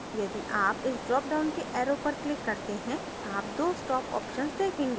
यदि आप इस drop down के arrows पर click करते हैं आप दो stop options देखेंगे